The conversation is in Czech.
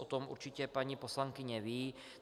O tom určitě paní poslankyně ví.